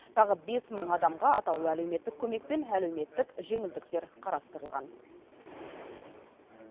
тағы бес мың адамға атаулы әлеуметтік көмек пен әлеуметтік жеңілдіктер қарастырылған